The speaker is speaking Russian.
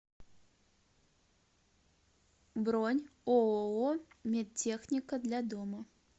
бронь ооо медтехника для дома